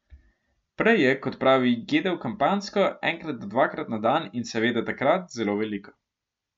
Prej je, kot pravi, jedel kampanjsko, enkrat do dvakrat na dan in seveda takrat zelo veliko.